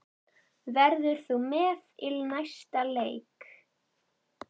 Verður þú með í næsta leik?